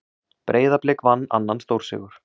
Breiðablik vann annan stórsigur